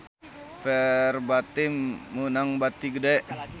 Verbatim meunang bati gede